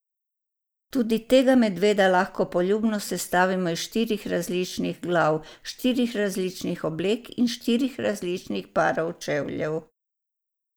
Tudi tega medveda lahko poljubno sestavimo iz štirih različnih glav, štirih različnih oblek in štirih različnih parov čevljev.